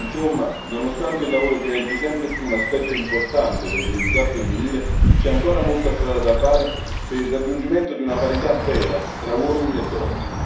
Insomma, nonostante il lavoro diventi sempre più un aspetto importante dell'identità femminile, c'è ancora molta strada da fare per il raggiungimento di una parità vera tra uomini e donne.